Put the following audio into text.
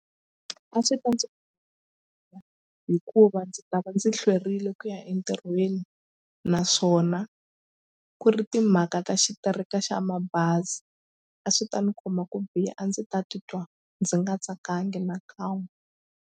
A swi ta ndzi hikuva ndzi ta va ndzi hlwerile ku ya entirhweni naswona ku ri timhaka ta xitereka xa mabazi a swi ta ni khoma ku biha a ndzi ta titwa ndzi nga tsakanga na kan'we.